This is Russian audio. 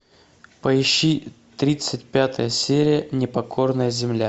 поищи тридцать пятая серия непокорная земля